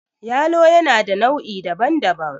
yalo yana da nau' I daban-daban